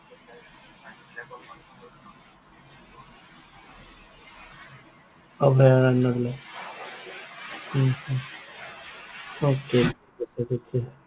অভয়াৰণ্য বিলাক? হম হম okay